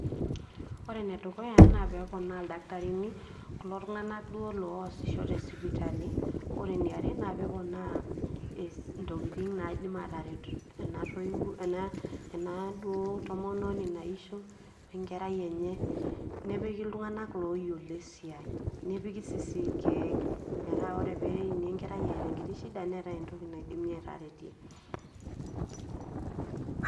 ore enedukuya naa peponaa ildaktarini kulo tung'anak duo loosisho tesipitali ore eneare naa peponaa intokitin naidim ataret ena duo tomononi naisho wenkerai enye nepiki iltung'anak loyiolo esiai nepiki sisii irkeek metaa ore peini enkerai eeta enkiti shida neetae enkiti toki naidimi ataretie.